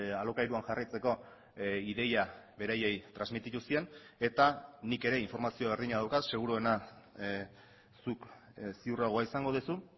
alokairuan jarraitzeko ideia beraiei transmititu zien eta nik ere informazio berdina daukat seguruena zuk ziurragoa izango duzu